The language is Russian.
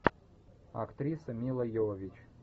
актриса мила йовович